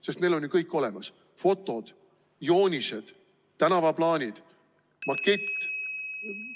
Sest meil on ju kõik olemas: fotod, joonised, tänavaplaanid ja makett.